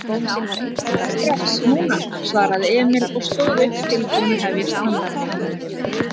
Bara strax. núna, svaraði Emil og stóð upp tilbúinn að hefjast handa.